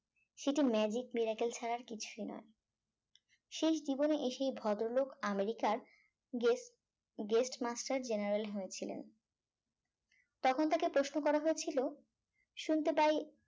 সেটা magic miracle ছাড়া কিছুই নয় শেষ জীবনে এসে ভদ্রলোক আমেরিকার guest guest master general হয়েছিলেন তখন তাকে প্রশ্ন করা হয়েছিল শুনতে পাই